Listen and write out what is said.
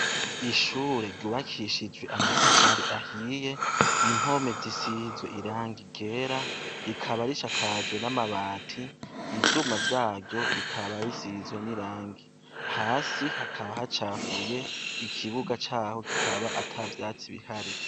Ishure ryubakishijwe amatafari ahiye, impome zisize ryera, rikaba risakajwe n'amabati, ivyuma vyaryo bikaba bisizwe n'irangi ,hasi hakaba hacafuye ,ikibuga caho hakaba atavyatsi bihari.